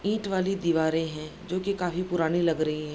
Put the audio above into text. ईंट वाली दीवारें हैं जोकि काफी पुरानी लग रहीं हैं।